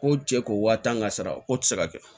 Ko cɛ ko wa tan ka sara ko tɛ se ka kɛ